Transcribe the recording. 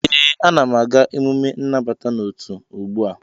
ee, Ana m aga emume nnabata n'otu ugbu a